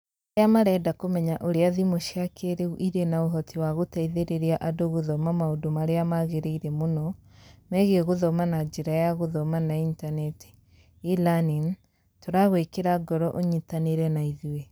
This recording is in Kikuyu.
Arĩa marenda kũmenya ũrĩa thimũ cia kĩĩrĩu irĩ na ũhoti wa gũteithĩrĩria andũ gũthoma maũndũ marĩa magĩrĩire mũno megiĩ gũthoma na njĩra ya gũthoma na Intaneti (e-Learning),tũragwĩkĩra ngoro ũnyitanĩre na ithuĩ.